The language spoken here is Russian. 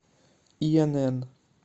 инн